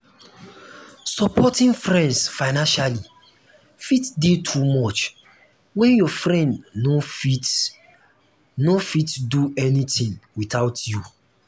supporting friends financially fit de too much when your friend no fit no fit do anything without you